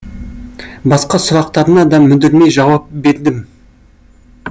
басқа сұрақтарына да мүдірмей жауап бердім